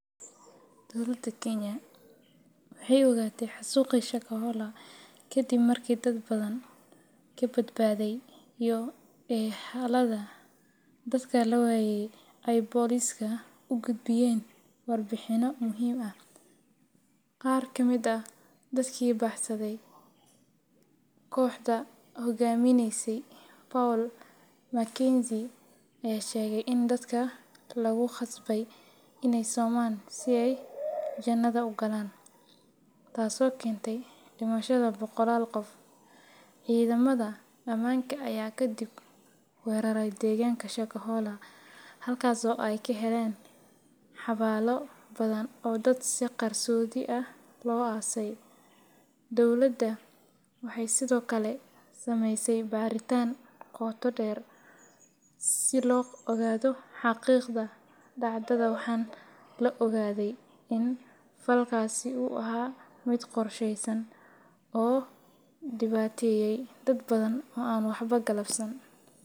Dowlada kenya waxaay ogatay xasuuqi shakabola kadib markaay dadka badbadeen xog ugudbiyaan poliska, dadka ayaa sheege in lagu qasbo inaay somaan si aay ugalaan janada taas oo keente dimashada boqolaal qof, cidamada deeganka ayaa kadib weerare deeganka, dowlada waxeey sido kale sameyse bartaan qooto deer si loo ogaado xaqiiqda, waxaa la ogaade inuu yahay qorsha oo dibaateye dad badan oo waxba sababsan .